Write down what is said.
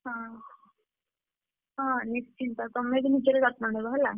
ହଁ ହଁ ନିଶ୍ଚିତ ତମେ ବି ନିଜର ଯତ୍ନ ନବ ହେଲା।